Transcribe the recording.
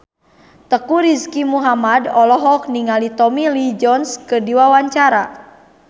Teuku Rizky Muhammad olohok ningali Tommy Lee Jones keur diwawancara